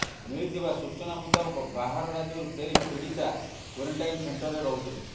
ମିଳିଥିବା ସୂଚନା ମୁତାବକ ବାହାର ରାଜ୍ୟରୁ ଫେରି ପୀଡିତା କ୍ବାରେଣ୍ଟାଇନ୍ ସେଣ୍ଟରେ ରହୁଥିଲେ